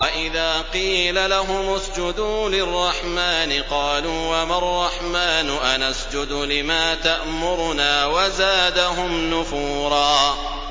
وَإِذَا قِيلَ لَهُمُ اسْجُدُوا لِلرَّحْمَٰنِ قَالُوا وَمَا الرَّحْمَٰنُ أَنَسْجُدُ لِمَا تَأْمُرُنَا وَزَادَهُمْ نُفُورًا ۩